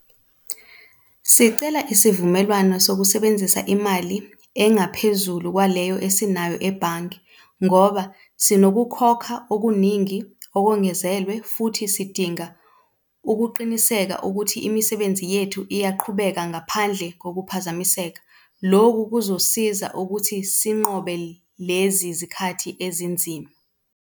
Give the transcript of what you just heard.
Sicela isivumelwano sokusebenzisa imali engaphezulu kwaleyo esinayo ebhange ngoba sinokukhokha okuningi okongenzelwe futhi sidinga ukuqiniseka ukuthi imisebenzi yethu iyaqhubeka ngaphandle kokuphazamiseka. Loku kuzosiza ukuthi sinqobe lezi zikhathi ezinzima.